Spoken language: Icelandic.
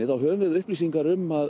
við upplýsingar um að